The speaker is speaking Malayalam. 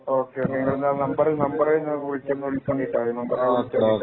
ഓക്കേ എന്ന നമ്പർ നിങ്ങൾ വിളിച്ചുകൊണ്ടി ട്ടോ